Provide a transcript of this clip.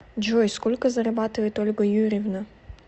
джой сколько зарабатывает ольга юрьевна